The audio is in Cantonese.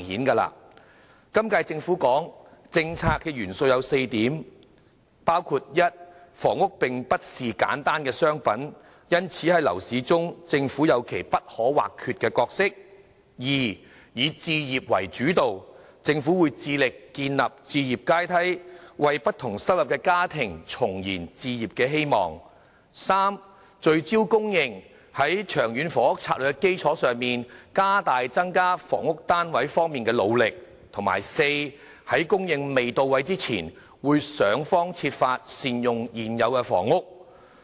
今屆政府的政策元素有4點，包括：一房屋並不是簡單的商品，因此在樓市中政府有其不可或缺的角色；二以置業為主導，政府會致力建立置業階梯，為不同收入的家庭重燃置業希望；三聚焦供應，在《長遠房屋策略》的基礎上，加大增加房屋單位方面的努力；及四在供應未到位前，會想方設法善用現有房屋。